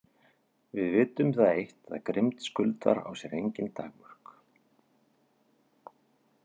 Við vitum það eitt að grimmd Skuldar á sér engin takmörk.